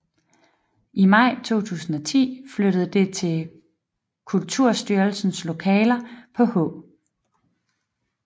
I maj 2010 flyttede det til Kulturstyrelsens lokaler på H